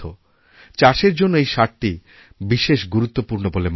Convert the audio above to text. চাষের জন্য এই সারটি বিশেষ গুরুত্বপূর্ণবলে মানা হয়